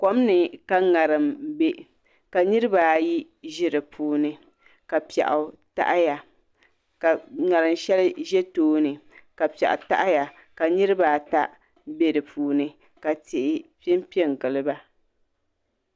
Kom ni ka ŋarim bɛ ka niraba ayi ʒi di puuni ka piɛɣu taɣaya ka ŋarim shɛli ʒɛ tooni ka piɛɣu taɣaya ka niraba ata bɛ di puuni ka tihi piɛ piɛ n giliba